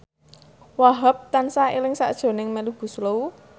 Wahhab tansah eling sakjroning Melly Goeslaw